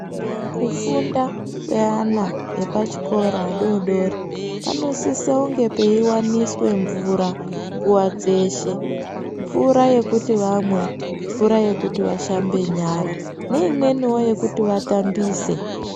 Kufunda kweana epachikora adodori panosisa kunge peiwaniswa mvura nguwa dzeshe. Mvura yekuti vamwe, mvura yekuti vashambe nyara neimweniwo yekuti vatambise.